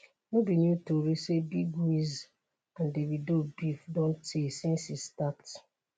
no be new tori say big wiz and davido beef don tey since e start.